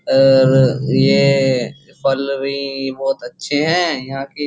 आ आ ये फल भी बहोत अच्छे हैं यहाँ के।